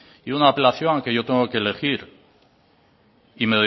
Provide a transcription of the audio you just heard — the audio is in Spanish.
y una apelación a que yo tengo que elegir y